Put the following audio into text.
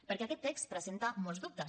perquè aquest text presenta molts dubtes